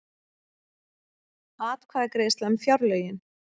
Atkvæðagreiðsla um fjárlögin